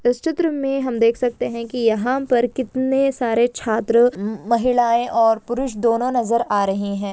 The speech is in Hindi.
इस चित्र मैं हम देख सकते है की यहाँ पर कितने सारे छात्र अम्म महिलायें और पुरुष दोनों नज़र आ रहे है।